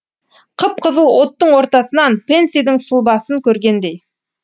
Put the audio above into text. қып қызыл оттың ортасынан пэнсидің сұлбасын көргендей